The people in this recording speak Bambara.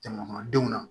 Jamana kɔnɔdenw ma